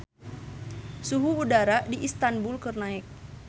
Suhu udara di Istanbul keur naek